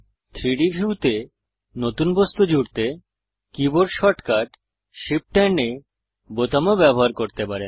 3ডি ভিউতে নতুন বস্তু জুড়তে কীবোর্ড শর্টকাট shift এএমপি A বোতামও ব্যবহার করতে পারেন